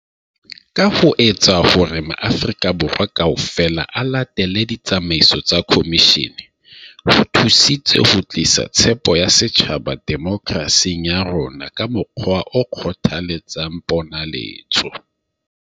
Ka ho etsa hore maAfri-ka Borwa kaofela a latele ditsamaiso tsa khomishene, ho thusitse ho tlisa tshepo ya setjhaba demoke rasing ya rona ka mokgwa o kgothaletsang ponaletso.